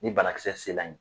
Ni banakisɛ sela yen